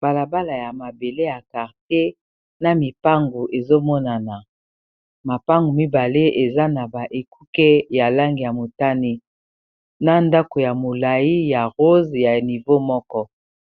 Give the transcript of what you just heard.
Balabala ya mabele ya karte na mipangu ezomonana mapangu mibale eza na ba ekuke ya langi ya motani, na ndako ya molai ya rose ya nivea moko